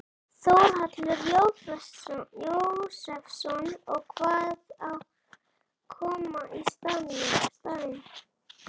Þórhallur Jósefsson: Og hvað á að koma í staðinn?